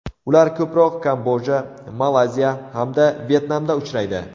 Ular ko‘proq Kamboja, Malayziya hamda Vyetnamda uchraydi.